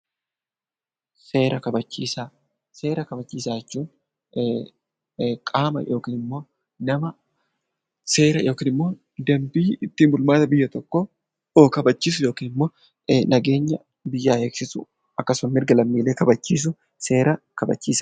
Seera kabachiisaa jechuun qaama yookiin immoo nama seera yookiin immoo dambii ittiin bulmaata biyya tokkoo kabachiisu yookiin immoo nageenya biyyaa eegisisu akkasumas mirga lammiilee kabachiisu seera kabachiisaa.